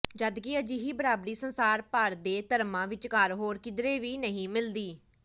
ਜਦਕਿ ਅਜਿਹੀ ਬਰਾਬਰੀ ਸੰਸਾਰ ਭਰ ਦੇ ਧਰਮਾਂ ਵਿਚਕਾਰ ਹੋਰ ਕਿਧਰੇ ਵੀ ਨਹੀਂ ਮਿਲਦੀ